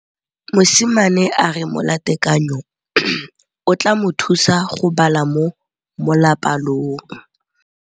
Mosimane a re molatekanyô o tla mo thusa go bala mo molapalong.